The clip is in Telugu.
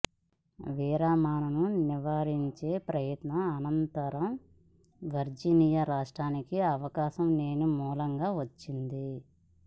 విరమణను నివారించే ప్రయత్నం అనంతరం వర్జీనియా రాష్ట్రానికి అవకాశం లేని మూలంగా వచ్చింది